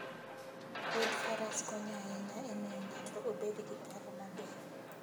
Wuodh faras konyo ahinya e miyo ng'ato obed gi paro maber.